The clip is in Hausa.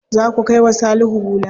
Za ku kai wa Salihu hula.